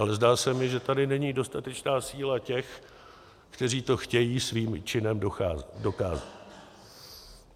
Ale zdá se mi, že tady není dostatečná síla těch, kteří to chtějí svým činem dokázat.